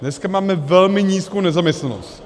Dneska máme velmi nízkou nezaměstnanost.